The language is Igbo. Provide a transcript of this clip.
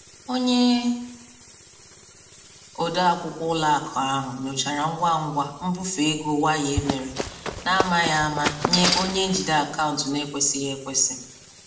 Onye odeakwụkwọ ụlọakụ ahụ nyochara ngwa ngwa mbufe ego waya emere na-amaghị ama nye onye njide akaụntụ n'ekwesịghị ekwesị.